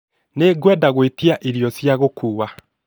Nĩngwenda gwetia irio cia gũkuua